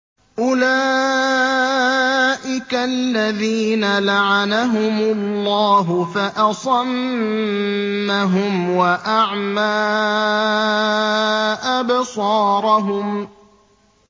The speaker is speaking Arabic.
أُولَٰئِكَ الَّذِينَ لَعَنَهُمُ اللَّهُ فَأَصَمَّهُمْ وَأَعْمَىٰ أَبْصَارَهُمْ